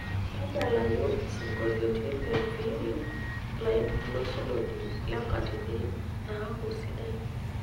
tadalayu isingolioni le nviiri ilainosunoni le nkatini naaku sidai